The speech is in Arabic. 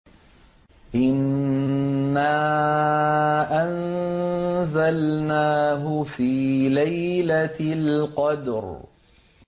إِنَّا أَنزَلْنَاهُ فِي لَيْلَةِ الْقَدْرِ